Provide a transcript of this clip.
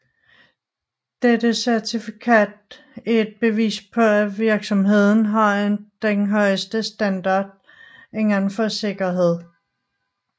Dette certifikat er et bevis på at virksomheden har den højeste standard inden for sikkerhed